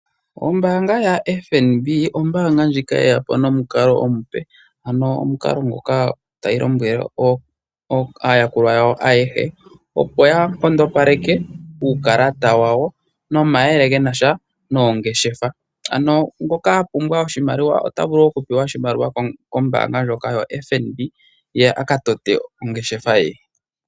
Ombaanga yaFNB, ombaanga ndjika ye ya po nomukalo omupe, ano omukalo nguka tayi lombwele aayakulwa yawo ayehe, opo ya nkondopaleke uukalata wawo nomayele genasha noongeshefa. Ano ngoka a pumbwa oshimaliwa kombaanga ndjoka yaFNB, ye aka tote ongeshefa ye.